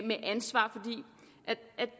ansvar